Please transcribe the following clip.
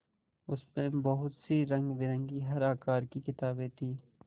उसमें बहुत सी रंगबिरंगी हर आकार की किताबें थीं